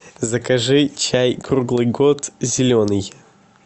закажи чай круглый год зеленый